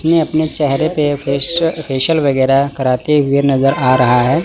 इसने अपने चेहरे पे फेशियल वगैरह कराते हुए नजर आ रहा है।